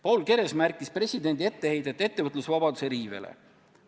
Paul Keres märkis ära presidendi etteheite ettevõtlusvabaduse riivele.